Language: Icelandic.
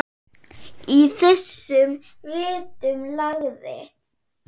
Í þessum ritum lagði